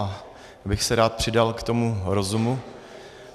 Já bych se rád přidal k tomu rozumu.